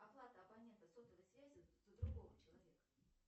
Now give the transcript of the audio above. оплата абонента сотовой связи за другого человека